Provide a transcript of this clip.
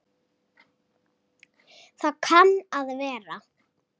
Það kann að vera